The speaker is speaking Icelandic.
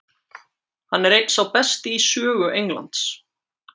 Hann er einn sá besti í sögu Englands.